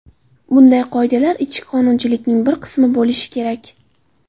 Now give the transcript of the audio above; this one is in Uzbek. Bunday qoidalar ichki qonunchilikning bir qismi bo‘lishi kerak.